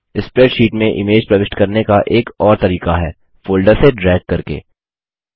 spreadsheet में image प्रविष्ट करने का एक और तरीका है फोल्डर से ड्रैग करके